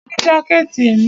A ní jákẹ̀tì èmi.